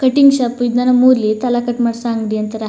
Cutting shop ಇದನ್ನ ನಮ್ಮೂರಲ್ಲಿ ತಲೆ ಕಟ್ ಮಾಡಿಸೋ ಅಂಗಡಿ ಅಂತಾರೆ.